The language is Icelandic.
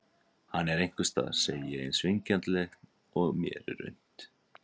Hann er einhvers staðar, segi ég eins vingjarnlega og mér er unnt.